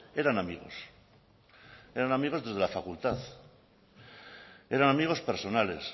eran amigos eran amigos desde la facultad eran amigos personales